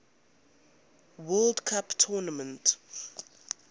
world cup tournament